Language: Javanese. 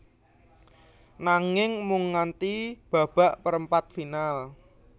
Nanging mung nganti babak perempat final